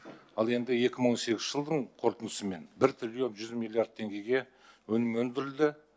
ал енді екі мың он сегізінші жылдың қорытындысымен бір триллион жүз миллиард теңгеге өнім өндірілді